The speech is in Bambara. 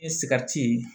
I sigarati